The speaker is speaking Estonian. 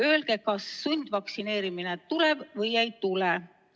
Öelge, kas sundvaktsineerimine tuleb või ei tule!